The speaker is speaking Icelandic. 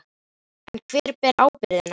En hver ber ábyrgðina?